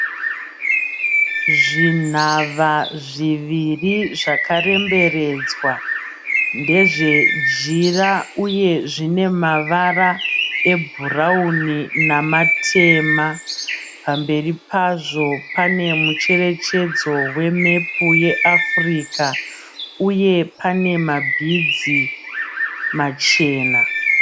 Zvinhava zviviri zvakaremberedzwa. Ndezvejira uye zvinemavara ebhurauni namatema. Pamberi pazvo pane mucherechedzo wemepu yeAfrica uye panemabhidzi machena.